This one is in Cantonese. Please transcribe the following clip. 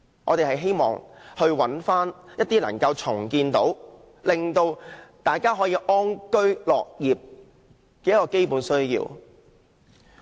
我們希望尋回一些能夠令大家安居樂業的基本設施。